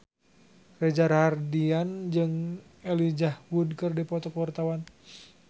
Reza Rahardian jeung Elijah Wood keur dipoto ku wartawan